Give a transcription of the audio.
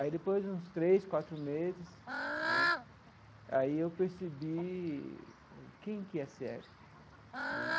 Aí, depois de uns três, quatro meses né, aí eu percebi quem que é sério né.